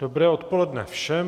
Dobré odpoledne všem.